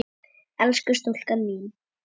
Elsku stúlkan mín